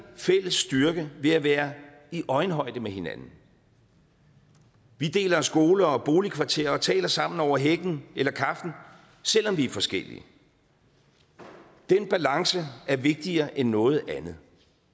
fælles styrke ved at være i øjenhøjde med hinanden vi deler skole og boligkvarter og taler sammen over hækken eller kaffen selv om vi er forskellige den balance er vigtigere end noget andet